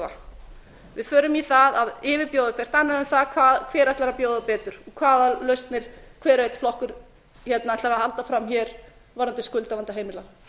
yfirboða við förum í það að yfirbjóða hvert annað um hver ætlar að bjóða betur hvaða lausnir hver og einn flokkur ætlar að halda fram hér varðandi skuldavanda heimilanna